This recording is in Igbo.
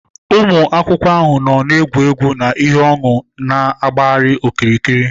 Ụmụ akwụkwọ ahụ nọ n'egwegwu na ihe ọn̄ụ na-agbagharị okirikiri